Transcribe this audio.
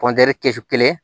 kɛsu kelen